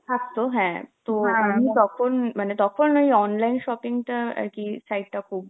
থাকতো হ্যাঁ, তো আমি তখন~ মানে তখন ওই online shopping টা আর কি site টা খুব